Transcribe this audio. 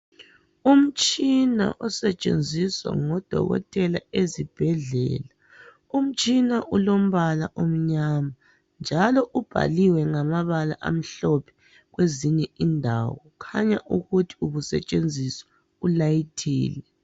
Umtshina osetshenzisa ngudokotela ezibhedlele umtshina ulompala omnyama njalo ubhaliwe ngamabala amhlophe kwezinye indawo kukhanya ukuthi ubusetshenziswa ulayithile.